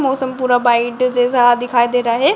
मौसम पूरा वाइट जैसा दिखाई दे रहा है।